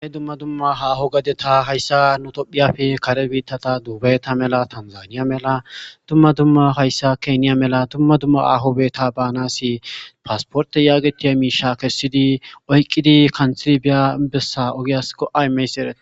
ane dumma dumma haaho gadeta hayssa nutophiyafe kare biittata duubayta mela tanzaniya mela dumma dumma hayssa keeniya mela dumma dumma ahobeta baanasi paasporte yaagetiya miisha kessidi oyqqidi kanxili biya bessa ogiyas go7aymeys erati